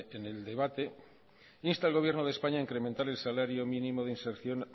en el debate insta al gobierno de españa a incrementar el salario mínimo de inserción